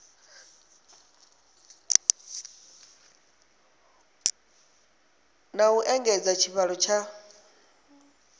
na u engedza tshivhalo tsha